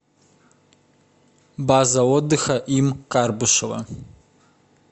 база отдыха им карбышева